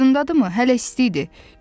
Yadındadır mı hələ isti idi?